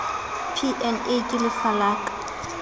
p na ke lefa ka